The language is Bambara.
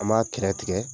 An b'a kɛrɛ tigɛ